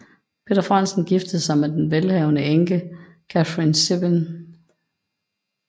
Peder Frandsen giftede sig med den velhavende enke Catrine Syben